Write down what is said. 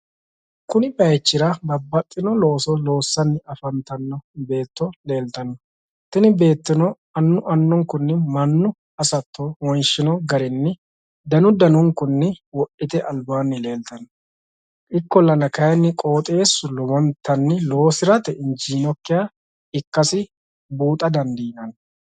kuni bayiichira babbaxxino looso loossanni afantanno beetto leeltanno tini beettono annu annunkunni mannu hasatto wonshino garinni danu danunkunni wodhite albaanni leeltanno ikkollana kayiinni qooxeessu lowontanni loosirate injiinokkiha ikkasi buuxa dandiinanni.